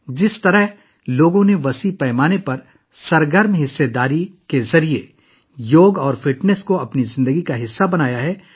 جس طرح لوگوں نے بڑے پیمانے پر فعال حصہ لے کر یوگا اور فٹنس کو اپنی زندگی کا حصہ بنا لیا ہے